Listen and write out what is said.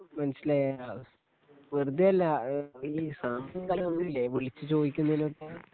മനസ്സിലായി ആ വെറുതെയല്ല ഈ സമയവും കാലവും ഒന്നുമില്ലേ വിളിച്ചു ചോദിക്കുന്നതിനൊന്നും